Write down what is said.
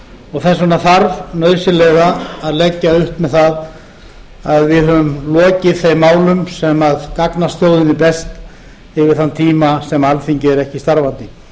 og þess vegna þarf nauðsynlega að leggja upp með það að við höfum lokið þeim málum sem gagnast þjóðinni best yfir þann tíma sem alþingi er ekki starfandi